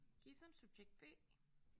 Gissem subjekt B